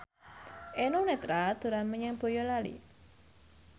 Eno Netral dolan menyang Boyolali